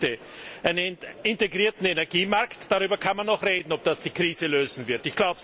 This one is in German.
Drei Punkte Ein integrierter Energiemarkt darüber kann man noch reden, ob das die Krise lösen wird.